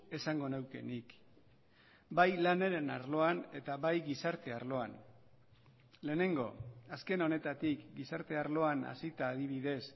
esango neuke nik bai lanaren arloan eta bai gizarte arloan lehenengo azken honetatik gizarte arloan hasita adibidez